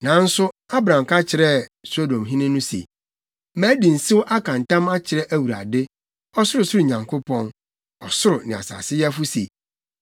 Nanso Abram ka kyerɛɛ Sodomhene no se, “Madi nsew aka ntam akyerɛ AWURADE, Ɔsorosoro Nyankopɔn, ɔsoro ne asase yɛfo se,